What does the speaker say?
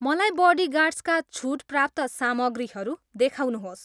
मलाई बडिगार्ड्सका छुट प्राप्त सामग्रीहरू देखाउनुहोस्